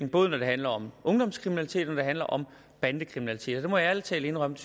både når det handler om ungdomskriminalitet og når det handler om bandekriminalitet og det må jeg ærlig talt indrømme